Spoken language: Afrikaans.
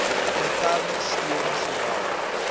interne steun sowel